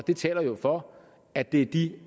det taler jo for at det er de